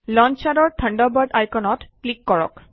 লন্সাৰৰ Thunderbird আইকনত click কৰক